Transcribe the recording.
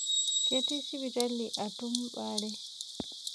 Ketii sipitali atum baare.